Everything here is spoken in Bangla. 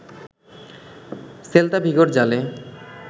সেল্তা ভিগোর জালে